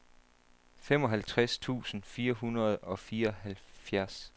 femoghalvtreds tusind fire hundrede og fireoghalvfjerds